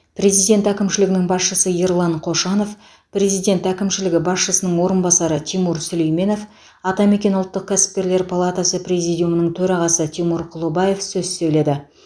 президент әкімшілігінің басшысы ерлан қошанов президент әкімшілігі басшысының орынбасары тимур сүлейменов атамекен ұлттық кәсіпкерлер палатасы президиумының төрағасы тимур құлыбаев сөз сөйледі